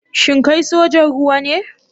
Shin kai sojan ruwa ne?